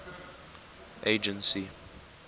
agency